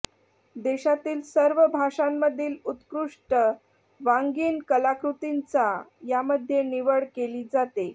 देशातील सर्व भाषांमधील उत्कृष्ट वाङ्मयीन कलाकृतींची यामध्ये निवड केली जाते